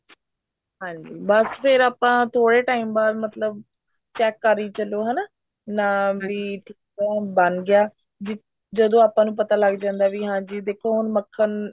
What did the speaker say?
ਹਾਂਜੀ ਬੱਸ ਫ਼ੇਰ ਆਪਾਂ ਥੋੜੇ time ਬਾਅਦ ਮਤਲਬ check ਕਰੀ ਚੱਲੋ ਹਨਾ ਮਤਲਬ sweet corn ਬਣ ਗਿਆ ਜਦੋਂ ਆਪਾ ਨੂੰ ਪਤਾ ਲੱਗ ਜਾਂਦਾ ਵੀ ਜੀ ਦੇਖੋ ਹੁਣ ਮੱਖਣ